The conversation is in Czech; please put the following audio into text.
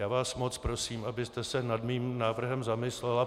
Já vás moc prosím, abyste se nad mým návrhem zamyslela.